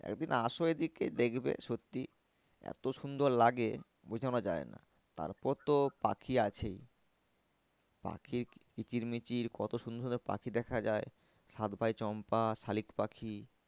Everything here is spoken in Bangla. একদিন আসো এদিকে দেখবে সত্যি এত সুন্দর লাগে বোঝানো যায় না। তার পর তো পাখি আছেই পাখির কিচির মিচির কত সুন্দর সুন্দর পাখি দেখা যায়। সাত ভাই চম্পা শালিক পাখি